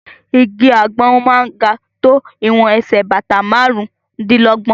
Igi àgbọn máa ń ga tó ìwọ̀n ẹsẹ̀ bàtà márùn-ún dí lọ́gbọ̀n.